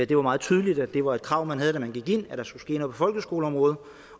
det var meget tydeligt at det var et krav man havde da man gik ind at der skulle ske noget på folkeskoleområdet